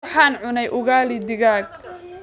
Waxaan cunay ugali digaag